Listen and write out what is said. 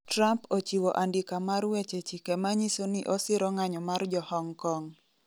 Trump ochiwo andika mar weche chike manyiso ni osiro ng'anyo mar jo Hong Kong